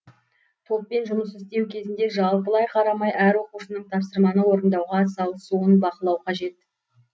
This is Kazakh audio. топпен жұмыс істеу кезінде жалпылай қарамай әр оқушының тапсырманы орындауға атсалысуын бақылау қажет